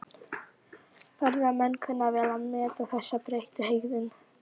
Ferðamenn kunna vel að meta þessa breyttu hegðun.